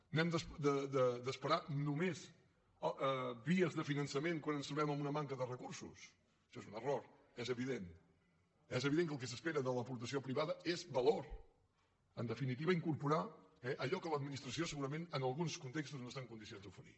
n’hem d’esperar només vies de finançament quan ens trobem amb una manca de recursos això és un error és evident és evident que el que s’espera de l’aportació privada és valor en definitiva incorporar allò que l’administració segurament en alguns contextos no està en condicions d’oferir